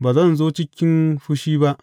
Ba zan zo cikin fushi ba.